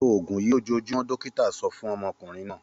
Lo òògùn yìí lójoojúmọ́! Dọ́kítá so fún ọmọkùnrin náà.